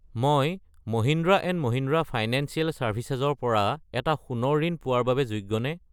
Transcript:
মই Mahindra and Mahindra financial services ৰ পৰা এটা সোণৰ ঋণ পোৱাৰ বাবে যোগ্যনে?